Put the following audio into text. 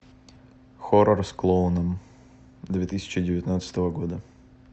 хоррор с клоуном две тысячи девятнадцатого года